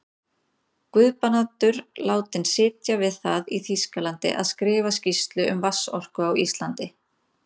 Guðbrandur látinn sitja við það í Þýskalandi að skrifa skýrslu um vatnsorku á Íslandi.